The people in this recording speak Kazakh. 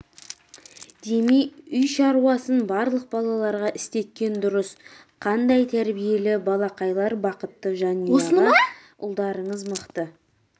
демей үй шаруасын барлық балаларға істеткен дұрыс қандай тәрбиелі балақайлар бақытты жанұя аға ұлдарыңыз мықты